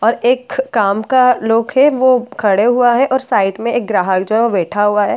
और एक्ख काम का लोक है वो खड़े हुआ है और साइड में एक ग्राहक जो है वह बैठा हुआ है एक टेबल--